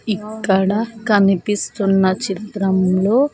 ఇక్కడ కనిపిస్తున్న చిత్రంలో.